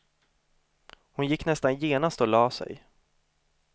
Hon gick nästan genast och lade sig.